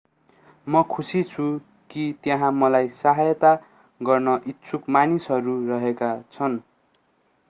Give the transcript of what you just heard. म खुशी छु कि त्यहाँ मलाई सहायता गर्न इच्छुक मानिसहरू रहेका छन्